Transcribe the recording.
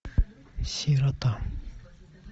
сирота